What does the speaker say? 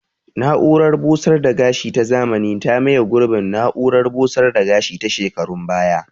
Na'urar busar da gashi ta zamani ta maye gurbin na'urar busar da gashi ta shekarun baya